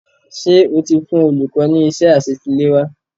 Ṣé o ti fụn olùkọ́ ní iṣẹ́ àṣetiléwá?